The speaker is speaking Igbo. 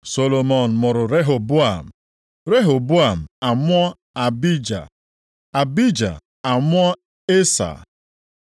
Solomọn mụrụ Rehoboam, Rehoboam amụọ Abija, Abija amụọ Esa.